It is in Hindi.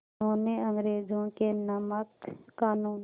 उन्होंने अंग्रेज़ों के नमक क़ानून